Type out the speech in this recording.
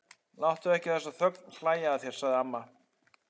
Láttu ekki þessa ögn hlæja að þér, sagði amma.